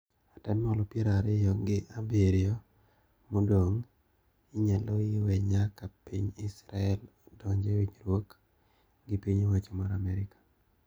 Atamalo pier ariyo gi abiriyo modong` inyaloi we nyaka piny Israel donj e winjruok gi piny owacho mar Amerka.